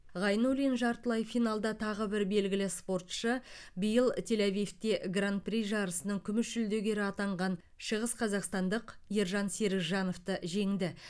ғайнуллин жартылай финалда тағы бір белгілі спортшы биыл тель авивте гран при жарысының күміс жүлдегері атанған шығысқазақстандық ержан серікжановты жеңді